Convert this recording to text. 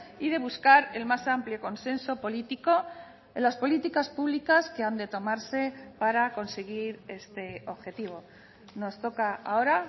y de buscar el más amplio consenso político en las políticas públicas que han de tomarse para conseguir este objetivo nos toca ahora